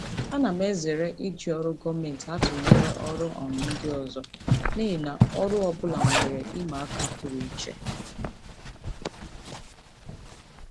Ana m ezere iji ọrụ gọọmentị atụnyere ọrụ um ndị ọzọ n'ihi na ọrụ ọ bụla nwere ihe ịma aka pụrụ iche.